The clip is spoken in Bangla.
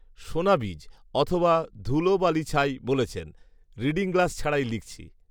সোনাবীজ; অথবা ধুলোবালিছাই বলেছেন ঋডিং গ্লাস ছাড়াই লিখছি